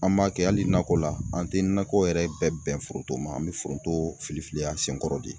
An b'a kɛ hali nakɔ la an tɛ nakɔ yɛrɛ bɛɛ bɛn foronto ma an bɛ foronto fili fili an siɲɛkɔrɔ de.